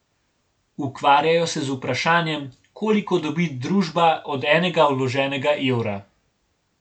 Ukvarjajo se z vprašanjem, koliko dobi družba od enega vloženega evra.